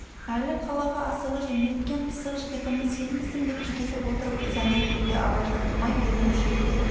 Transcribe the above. әлі қалаға асығыс жөнелткен пысық жігітіміз сенбісің деп кекетіп отырып ызамен күлді абай жақтырмай ернін шүйірді